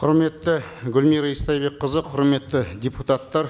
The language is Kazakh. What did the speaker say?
құрметті гүлмира истайбекқызы құрметті депутаттар